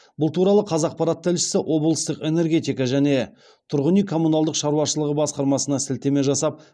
бұл туралы қазақпарат тілшісі облыстық энергетика және тұрғын үй коммуналдық шаруашылығы басқармасына сілтеме жасап